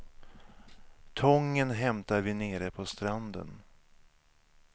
Tången hämtar vi nere på stranden.